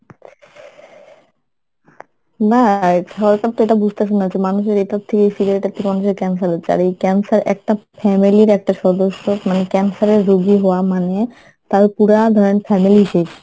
না সরকারতো এটা বুজতেসে না যে মানুষের এটার থেকেই cigarette এর থেকেই মানুষের Cancer হচ্ছে আর এই Cancer একটা family এর একটা সদস্য মানে Cancer এর রুগী হওয়া মানে তার পুরা ধরেন family শেষ